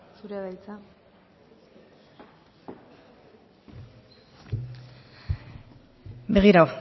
zurea da hitza begira